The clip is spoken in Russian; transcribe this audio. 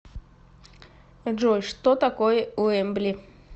джой что такое уэмбли